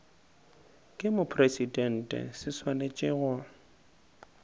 ke mopresidente se swanetše go